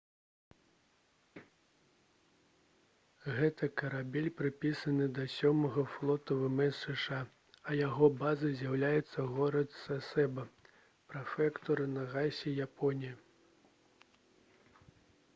гэты карабель прыпісаны да сёмага флоту вмс зша а яго базай з'яўляецца горад сасеба прэфектура нагасакі японія